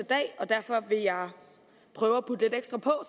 dag derfor vil jeg prøve at putte lidt ekstra på